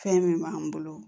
Fɛn min b'an bolo